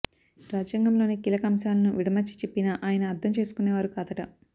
రాజ్యాంగంలోని కీలక అంశాలను విడమర్చి చెప్పినా ఆయన అర్థం చేసుకునేవారు కాదట